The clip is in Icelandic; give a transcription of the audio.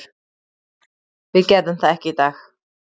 Við gerðum það ekki í dag.